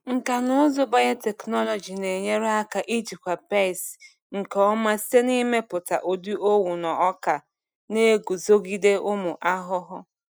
Nkà na ụzụ biotechnology na-enyere aka ijikwa pesti nke ọma site n’ịmepụta ụdị owu na ọka na-eguzogide ụmụ ahụhụ.